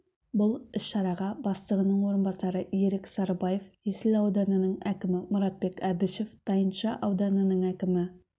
бұл іс-шараға бастығының орынбасары ерік сарыбаев есіл ауданының әкімі мұратбек әбішев тайынша ауданының әкімі